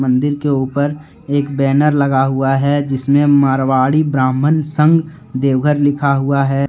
मंदिर के ऊपर एक बैनर लगा हुआ है जिसमें मारवाड़ी ब्राह्मण संघ देवघर लिखा हुआ है।